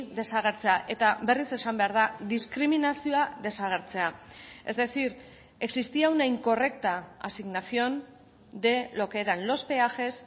desagertzea eta berriz esan behar da diskriminazioa desagertzea es decir existía una incorrecta asignación de lo que eran los peajes